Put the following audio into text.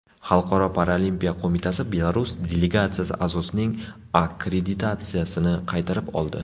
Xalqaro paralimpiya qo‘mitasi Belarus delegatsiyasi a’zosining akkreditatsiyasini qaytarib oldi.